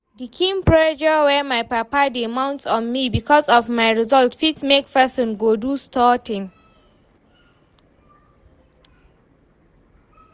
The kyn pressure wey my papa dey mount on me because of my results fit make person go do sorting